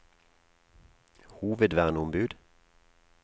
hovedverneombud